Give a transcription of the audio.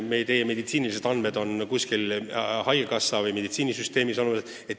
Meie meditsiinilised andmed on kuskil haigekassa- või mujal meditsiinisüsteemis olemas.